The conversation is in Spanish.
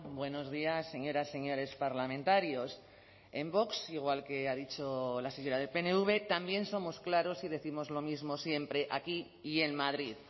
buenos días señoras señores parlamentarios en vox igual que ha dicho la señora del pnv también somos claros y décimos lo mismo siempre aquí y en madrid